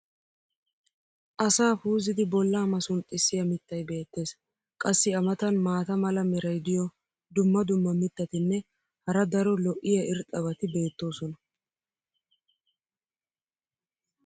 asaa puuzzidi bolaa masunxxisiya mitay beetees. qassi a matan maata mala meray diyo dumma dumma mitatinne hara daro lo'iya irxxabati beetoosona.